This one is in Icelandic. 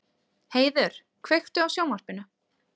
Heiður, kveiktu á sjónvarpinu.